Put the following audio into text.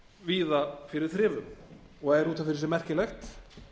víða fyrir þrifum og er út af fyrir sig merkilegt